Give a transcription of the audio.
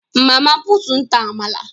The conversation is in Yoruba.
Mama put n ta àmàlà